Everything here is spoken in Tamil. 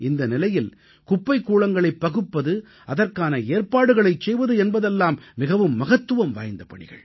இந்த நிலையில் குப்பைக் கூளங்களை பகுப்பது அதற்கான ஏற்பாடுகளைச் செய்வது என்பதெல்லாம் மிகவும் மகத்துவம் வாய்ந்த பணிகள்